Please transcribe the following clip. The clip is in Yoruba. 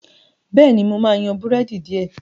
béèni mọ má yan Búrẹ́dì diẹ.